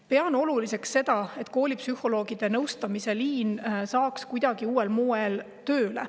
Pean oluliseks, et koolipsühholoogide nõustamise liin saaks kuidagi uuel moel tööle.